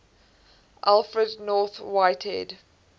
alfred north whitehead